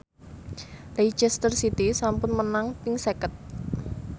Leicester City sampun menang ping seket